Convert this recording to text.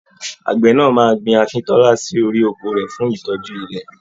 Àgbẹ náà máa gbìn akíntọ́lá sí orí oko rẹ̀ fún ìtọ́jú ilẹ̀.